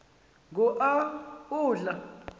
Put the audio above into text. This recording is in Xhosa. ngo a udla